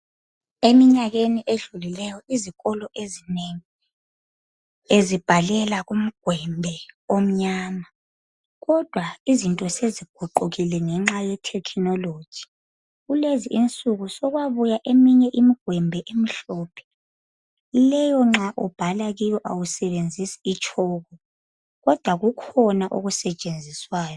eminyakeni edlulileyo izikolo ezinengi bezibhalela kumgwembe omnyama kodwa izinto seziguqukile ngenxa ye technology kulezi insuku sokwabuya eminye imigwembe emhlophe leyo nxa ubhala kiyo awsebenzisi i tshoko kodwa kukhona okusetshenziswayo